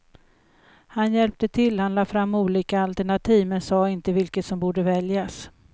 Han hjälpte till, han lade fram olika alternativ, men sade inte vilket som borde väljas.